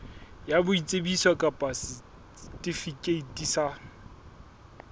ya boitsebiso kapa setifikeiti sa